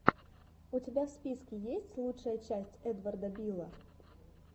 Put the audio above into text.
у тебя в списке есть лучшая часть эдварда билла